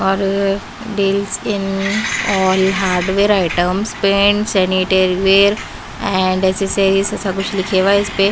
और deals in all hardware items paint sanitary ware and से कुछ लिखे हुआ इस पे--